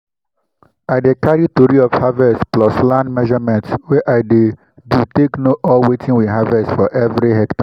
i dey carry tori of harvest plus land measurement wey i do take know all wetin we harvest for everi hectare.